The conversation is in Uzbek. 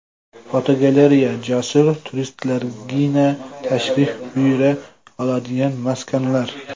Fotogalereya: Jasur turistlargina tashrif buyura oladigan maskanlar.